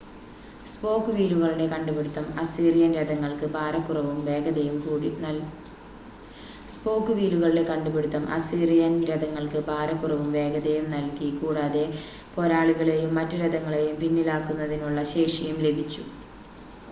spoke വീലുകളുടെ കണ്ടുപിടുത്തം അസീറിയൻ രഥങ്ങൾക്ക് ഭാരക്കുറവും വേഗതയും നൽകി കൂടാതെ പോരാളികളെയും മറ്റു രഥങ്ങളെയും പിന്നിലാക്കുന്നതിനുള്ള ശേഷിയും ലഭിച്ചു